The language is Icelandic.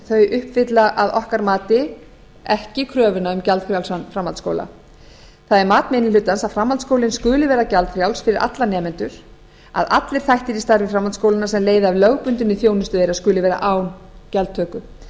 frumvarpsins uppfylla að okkar mati ekki kröfuna um gjaldfrjálsan framhaldsskóla það er mat minni hlutans að framhaldsskólinn skuli vera gjaldfrjáls fyrir alla nemendur að allir þættir í starfi framhaldsskólanna sem leiða af lögbundinni þjónustu þeirra skuli vera án gjaldtöku það